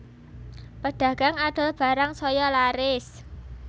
Pedagang adol barang saya laris